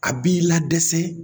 A b'i ladesɛ